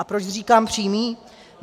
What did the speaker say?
A proč říkám přímý?